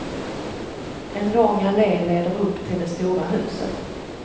En lång allé leder upp till det stora huset.